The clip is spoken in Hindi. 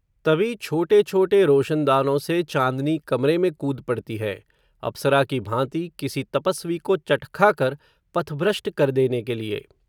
तभी छोटे छोटे रोशनदानो से चांदनी कमरे में कूद पडती है, अप्सरा की भांति किसी तपस्वी को चटखा कर, पथभ्रष्ट कर देने के लिये